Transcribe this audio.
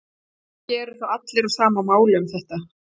Ekki eru þó allir á sama máli um þetta.